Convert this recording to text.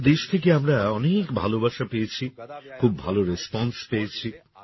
সারা দেশ থেকে আমরা অনেক ভালোবাসা পেয়েছি খুব ভালো রেসপন্সে পেয়েছি